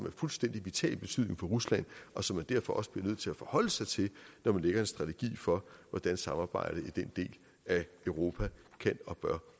af fuldstændig vital betydning for rusland og som man derfor også bliver nødt til at forholde sig til når man lægger en strategi for hvordan samarbejdet i den del af europa kan og bør